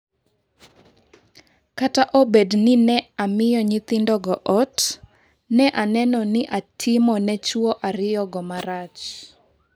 """Kata obedo ni ne amiyo nyithindogo ot, ne aneno ni ne atimo ne chwo ariyogo marach."